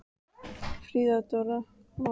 Friðþóra, hvað geturðu sagt mér um veðrið?